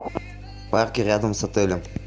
парки рядом с отелем